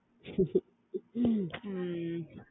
உம்